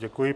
Děkuji.